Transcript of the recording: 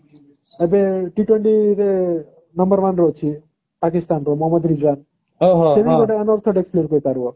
ଏବେ T twenty ରେ number one ରେ ଅଛି ପାକିସ୍ଥାନର ମହମଦ ଋଜୁଆନ ସିଏ ବି one of unarthodox player କହିପାରିବ